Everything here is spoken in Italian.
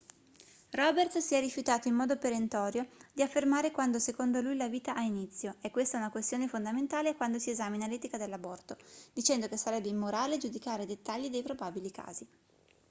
roberts si è rifiutato in modo perentorio di affermare quando secondo lui la vita ha inizio è questa una questione fondamentale quando si esamina l'etica dell'aborto dicendo che sarebbe immorale giudicare i dettagli dei probabili casi